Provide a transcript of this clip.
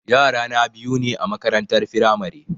Yara na biyu ne a makarantar firamare